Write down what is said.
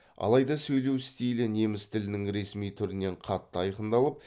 алайда сөйлеу стилі неміс тілінің ресми түрінен қатты айқындалып